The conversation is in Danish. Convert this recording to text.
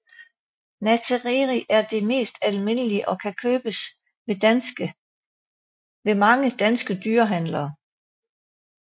Nattereri er den mest almindelige og kan købes ved mange danske dyrehandlere